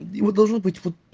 его должно быть вот